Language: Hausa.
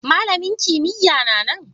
Malamin kimiyya'n na nan?